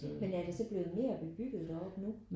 Men er det så blevet mere bebygget deroppe nu?